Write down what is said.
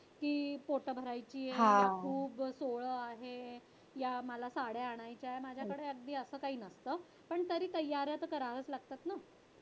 की पोट भरायची खूप सोहळं आहे, या मला साड्या आणायच्या, माझ्याकडे अगदी असं काही नसतं पण तरी तयाऱ्या तर कराव्याच लागतात ना?